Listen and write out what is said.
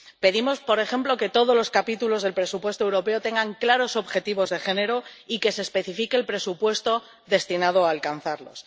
Pedimos, por ejemplo, que todos los capítulos del presupuesto europeo tengan claros objetivos de género y que se especifique el presupuesto destinado a alcanzarlos.